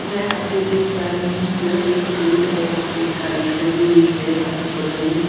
मैं यहाॅं पे देख पा रही हूॅं यह एक रोड है यहाॅं पे एक गाड़ी खड़ी हुई है और यहाॅं पे बगल में --